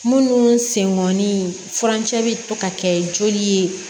Munnu sen ŋɔni furancɛ bi to ka kɛ joli ye